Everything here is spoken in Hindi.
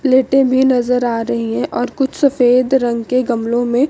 प्लेटे भी नजर आ रही है और कुछ सफेद रंग के गमलो में--